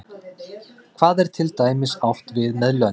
hvað er til dæmis átt við með lönd